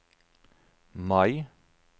Mai